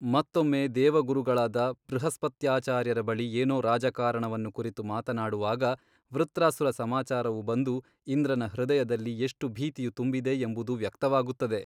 ಮತ್ತೊಮ್ಮೆ ದೇವಗುರುಗಳಾದ ಬೃಹಸ್ಪತ್ಯಾಚಾರ್ಯರ ಬಳಿ ಏನೋ ರಾಜಕಾರಣವನ್ನು ಕುರಿತು ಮಾತನಾಡುವಾಗ ವೃತ್ರಾಸುರ ಸಮಾಚಾರವು ಬಂದು ಇಂದ್ರನ ಹೃದಯದಲ್ಲಿ ಎಷ್ಟು ಭೀತಿಯು ತುಂಬಿದೆ ಎಂಬುದು ವ್ಯಕ್ತವಾಗುತ್ತದೆ.